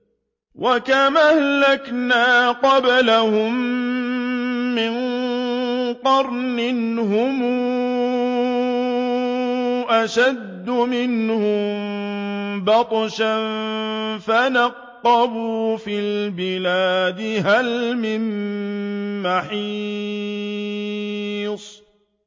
وَكَمْ أَهْلَكْنَا قَبْلَهُم مِّن قَرْنٍ هُمْ أَشَدُّ مِنْهُم بَطْشًا فَنَقَّبُوا فِي الْبِلَادِ هَلْ مِن مَّحِيصٍ